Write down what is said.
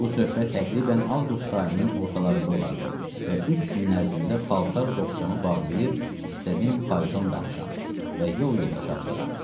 Bu söhbət təqribən avqust ayının ortalarında olardı və üç gün ərzində palto boğçamı bağlayıb istədim fayton danışam və yol yoldaşı axtaram.